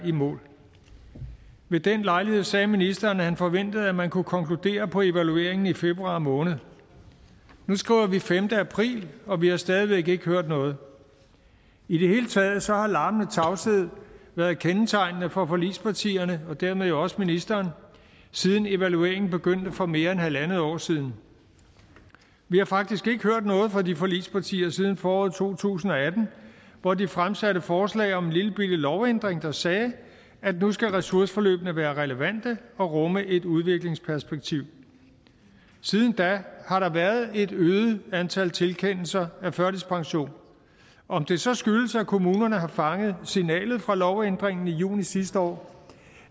i mål ved den lejlighed sagde ministeren at han forventede at man kunne konkludere på evalueringen i februar måned nu skriver vi den femte april og vi har stadig væk ikke hørt noget i det hele taget har larmende tavshed været kendetegnende for forligspartierne og dermed jo også ministeren siden evalueringen begyndte for mere end halvandet år siden vi har faktisk ikke hørt noget fra de forligspartier siden foråret to tusind og atten hvor de fremsatte et forslag om en lillebitte lovændring der sagde at nu skal ressourceforløbene være relevante og rumme et udviklingsperspektiv siden da har der været et øget antal tilkendelser af førtidspension om det så skyldes at kommunerne har fanget signalet fra lovændringen i juni sidste år